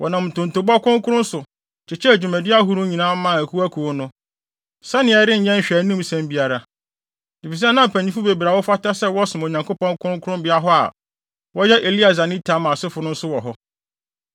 Wɔnam ntontobɔ kronkron so, kyekyɛɛ dwumadi ahorow nyinaa maa akuwakuw no, sɛnea ɛrenyɛ nhwɛanimsɛm biara. Efisɛ na mpanyimfo bebree a wɔfata sɛ wɔsom Onyankopɔn kronkronbea hɔ a wɔyɛ Eleasar ne Itamar asefo no nso wɔ hɔ.